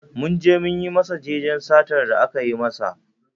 Mun je mun yi masa jajen satar da aka yi masa